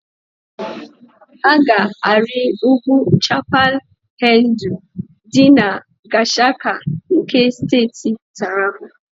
Ha ga-arị ugwu Chapal Hendu dị na Gashaka nke Steeti Taraba.